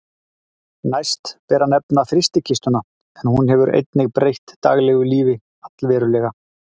Næst ber að nefna frystikistuna en hún hefur einnig breytt daglegu lífi allverulega.